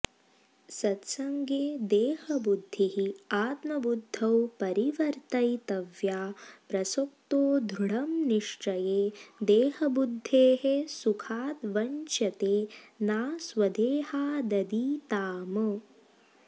सत्सङ्गे देहबुद्धिः आत्मबुद्धौ परिवर्तयितव्या प्रसक्तो दृढं निश्चये देहबुद्धेः सुखाद् वञ्च्यते ना स्वदेहादतीताम